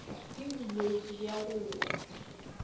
ke bolwetši bja go wa